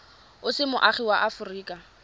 o se moagi wa aforika